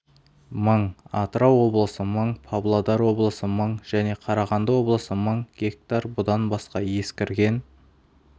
мың атырау облысы мың павлодар облысы мың және қарағанды облысы мың гектар бұдан басқа ескірген